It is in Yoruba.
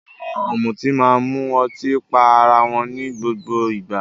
Àwọn ọ̀mùtí máa ń mu ọtí pá ará wọn ní gbogbo ìgbà.